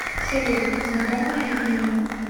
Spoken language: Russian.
салют знакомое имя